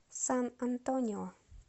сан антонио